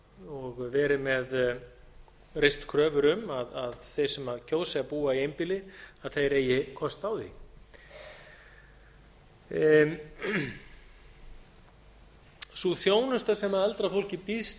og reist kröfur um að þeir sem kjósi að búa í einbýli eigi kost á því sú þjónusta sem eldra fólki býðst